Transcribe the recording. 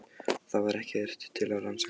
Það var ekkert til að rannsaka.